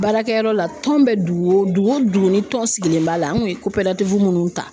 Baarakɛyɔrɔ la tɔn bɛ dugu o dugu , dugu o dugu ni tɔn sigilen b'a la an kun ye minnu ta